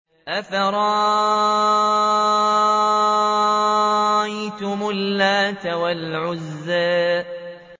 أَفَرَأَيْتُمُ اللَّاتَ وَالْعُزَّىٰ